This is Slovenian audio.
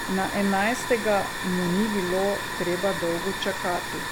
Na enajstega mu ni bilo treba dolgo čakati.